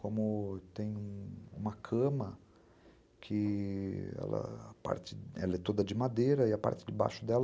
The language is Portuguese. Como tem uma cama que é toda de madeira e a parte de baixo dela